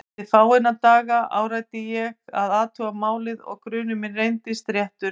Eftir fáeina daga áræddi ég að athuga málið og grunur minn reyndist réttur.